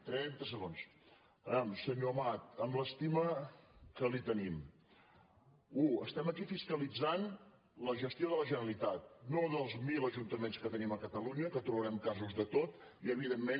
vejam senyor amat amb l’estima que li tenim u estem aquí fiscalitzant la gestió de la generalitat no dels mil ajuntaments que tenim a catalunya que trobarem casos de tot i evidentment